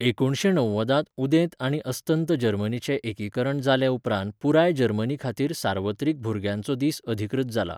एकुणशे णव्वदांत उदेंत आनी अस्तंत जर्मनीचें एकीकरण जाले उपरांत पुराय जर्मनीखातीर सार्वत्रिक भुरग्यांचो दीस अधिकृत जाला.